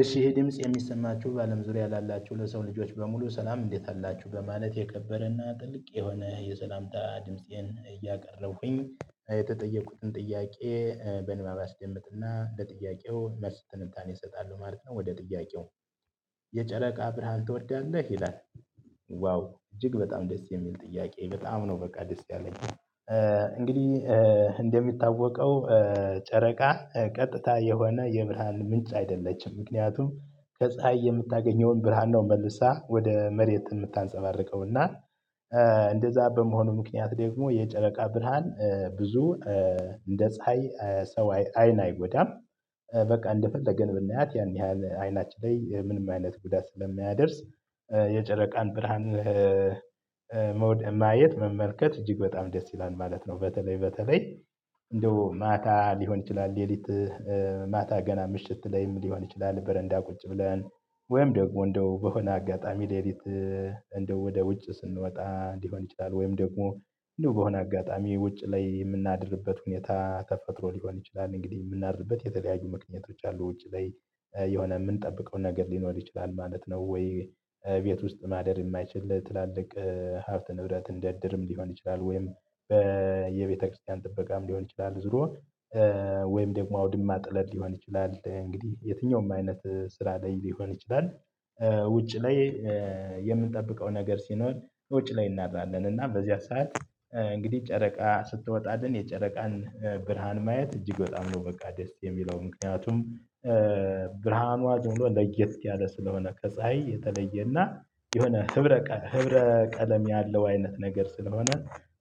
እሺ ይሄ ድምጽ የሚሰማችሁ በአለም ዙሪያ ላላችሁ ለሰው ልጆች በሙሉ ሰላም እንዴት አላችሁ በማለት የከበረና ጥልቅ የሆነ የሰላምታ ድምፄን እያቀረብኩኝ የተጠየቁትን ጥያቄ በንባብ አስደምጥና ለጥያቄው መልስ ትንታኔ እሰጣለሁ ማለት ነው። ወደ ጥያቄው የጨረቃ ብርሃን ትወዳለህ ይላል? ዋው እጅግ በጣም ደስ የሚል ጥያቄ በጣም ነው በቃ ደስ ያለኝ። እንግዲህ እንደሚታወቀው ጨረቃ ቀጥታ የሆነ የብርሃን ምንጭ አይደለችም ምክንያቱም ከፀሀይ የምታገኘውን ብርሃን ነው መልሳ ወደ መሬት የምታንፀባርቀውና። እንደዛ በመሆኑ ምክንያት ደግሞ የጨረቃ ብርሃን ብዙ እንደ ፀሀይ ሰው አይን አይጎዳም። በቃ እንደፈለገን ብናያት ያን ያህል አይናችን ላይ ምንም አይነት ጉዳት ስለማያደርስ። የጨረቃን ብርሃን መውደድ ማየት መመልከት እጅግ በጣም ደስ ይላል ማለት ነው። በተለይ በተለይ እንደው ማታ ሊሆን ይችላል ሌሊት። ማታ ገና ምሽት ላይም ሊሆን ይችላል በረንዳ ቁጭ ብለን ወይም ደግሞ እንደው በሆነ አጋጣሚ ሌሊት። እንደው ወደ ውጭ ስንወጣ ሊሆን ይችላል ወይም ደግሞ እንደው በሆነ አጋጣሚ ውጭ ላይ የምናድርበት ሁኔታ ተፈጥሮ ሊሆን ይችላል። እንግዲህ የምናድርበት የተለያዩ ምክንያቶች አሉ ውጪ ላይ የሆነ የምንጠብቀው ነገር ሊኖር ይችላል ማለት ነው። ወይ ቤት ውስጥ ማደር የማይችል ትላልቅ ሀብተ ንብረት እንደ እድርም ሊሆን ይችላል ወይም በየቤተክርስቲያን ጥበቃም ሊሆን ይችላል ዞሮ። ወይም ደግሞ አውድማ ጥለት ሊሆን ይችላል እንግዲህ የትኛውም አይነት ስራ ላይ ሊሆን ይችላል። ውጭ ላይ የምንጠብቀው ነገር ሲኖር ውጭ ላይ እናድራለን እና በዚያ ሰዓት እንግዲህ ጨረቃ ስትወጣልን የጨረቃን ብርሃን ማየት እጅግ በጣም ነው በቃ ደስ የሚለው። ምክንያቱም ብርሃኗ ዝም ብሎ ለየት ያለ ስለሆነ ከፀሀይ የተለየና የሆነ ህብረ ህብረ ቀለም ያለው አይነት ነገር ስለሆነ